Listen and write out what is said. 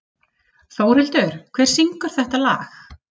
Þórhildur, hver syngur þetta lag?